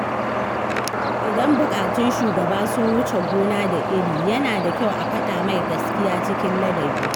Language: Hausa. Idan buƙatun shugaba sun wuce gona da iri, yana da kyau a faɗa mai gaskiya cikin ladabi.